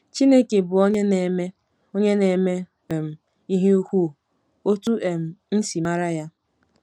Chineke Bụ “Onye Na-eme “Onye Na-eme um Ihe ukwu”—Otú um M Si Mara Ya